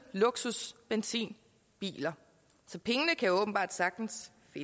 luksusbenzinbiler så pengene kan åbenbart sagtens